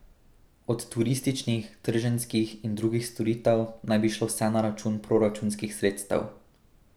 Od turističnih, trženjskih in drugih storitev naj bi šlo vse na račun proračunskih sredstev.